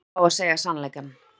Maður á að fá að segja sannleikann.